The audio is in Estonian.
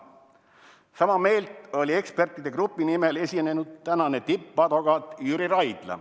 " Sama meelt oli ekspertide grupi nimel esinenud tänane tippadvokaat Jüri Raidla.